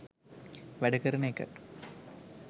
වැඩ කරන එක